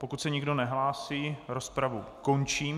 Pokud se nikdo nehlásí, rozpravu končím.